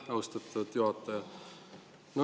Aitäh, austatud juhataja!